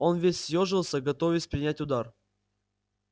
он весь съёжился готовясь принять удар